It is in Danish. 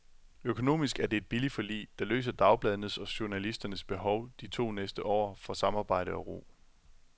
Økonomisk er det et billigt forlig, der løser dagbladenes og journalisternes behov de næste to år for samarbejde og ro.